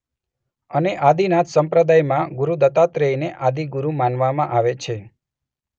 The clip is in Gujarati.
અને આદિનાથ સંપ્રદાયમાં ગુરુ દત્તાત્રયને આદિગુરુ માનવામાં આવે છે.